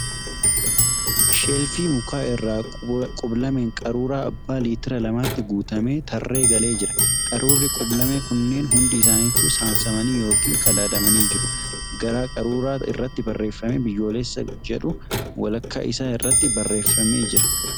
Sheelfii mukaa irra qub-lameen qaruura abba liitira lamaatti guutamee tarree galee jira. Qaruurri qub-lamee kunneen hundi isaanitu saamsamanii yookin qadaadamanii jiru. Garaa qaruuraa irratti barreeffamni ' Biyyoolessa ' jedhu walakkaa isaa irratti barreeffamee jira.